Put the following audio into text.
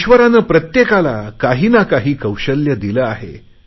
ईश्वराने प्रत्येकाला काहीना काही कौशल्य दिले आहे